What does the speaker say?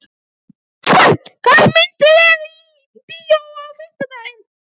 Gestur, hvaða myndir eru í bíó á fimmtudaginn?